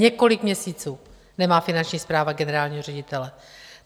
Několik měsíců nemá Finanční správa generálního ředitele.